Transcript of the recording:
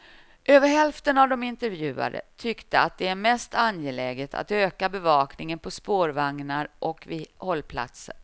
Över hälften av de intervjuade tyckte att det är mest angeläget att öka bevakningen på spårvagnar och vid hållplatser.